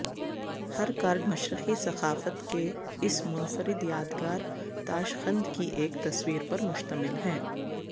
ہر card مشرقی ثقافت کے اس منفرد یادگار تاشقند کی ایک تصویر پر مشتمل ہے